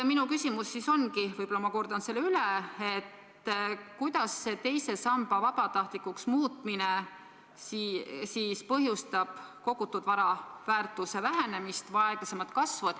Minu küsimus ongi, võib-olla ma kordan selle üle: mil määral teise samba vabatahtlikuks muutmine põhjustab kogutud vara väärtuse vähenemist või aeglasemat kasvu?